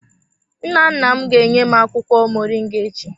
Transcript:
Nnanna m ga-enye m akwụkwọ moringa echi.